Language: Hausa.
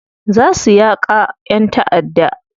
Za su yaka yan ta'adda.